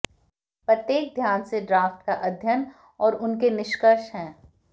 प्रत्येक ध्यान से ड्राफ्ट का अध्ययन और उनके निष्कर्ष है